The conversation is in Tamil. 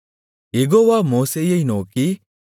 யெகோவா மோசேயை நோக்கி